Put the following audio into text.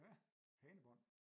Ja hanebånd